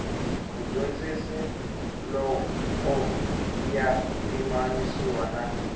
mudyondzi loko ya pimanisiwa na